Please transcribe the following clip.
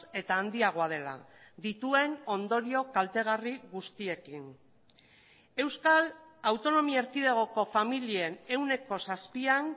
eta handiagoa dela dituen ondorio kaltegarri guztiekin euskal autonomia erkidegoko familien ehuneko zazpian